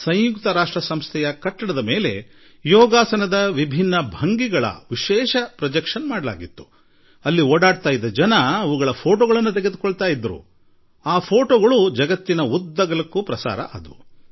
ಪ್ರಧಾನ ಕಚೇರಿ ಇರುವ ಕಟ್ಟಡದ ಮೇಲೆ ಯೋಗಾಸನದ ವಿವಿಧ ಭಂಗಿಗಳ ವಿಶೇಷ ಪ್ರದರ್ಶನ ವ್ಯವಸ್ಥೆ ಮಾಡಿದ್ದರು ಅಲ್ಲಿ ಓಡಾಡುತ್ತಿದ್ದ ಜನರು ಅದರ ಛಾಯಾಚಿತ್ರ ತೆಗೆದುಕೊಳ್ಳುತ್ತಿದ್ದರು ಹಾಗೂ ಈ ಚಿತ್ರಗಳು ವಿಶ್ವದಾದ್ಯಂತ ವಿನಿಮಯವಾದವು